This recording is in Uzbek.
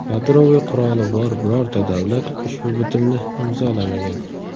Yadroviy quroli bor birorta davlat ushbu bitimni imzolamagan.